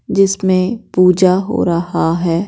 जिसमें पूजा हो रहा है।